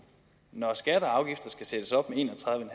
når skatter og afgifter skal sættes op med en og tredive